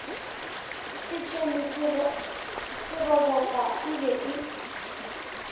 setšhene seroboka e be e